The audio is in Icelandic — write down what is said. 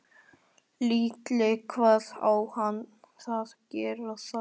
Lillý: Hvað á að gera þar?